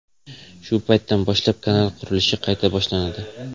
Shu paytdan boshlab kanal qurilishi qayta boshlanadi.